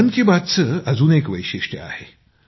मित्रांनो मन की बातची अजून एक विशेषतः आहे